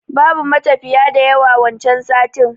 Babu matafiya da yawa wancan satin